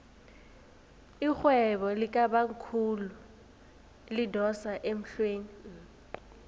irhwebo likabamkhulu lidosa emhlweni